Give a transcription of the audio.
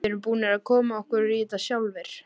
Við erum búnir að koma okkur í þetta sjálfir.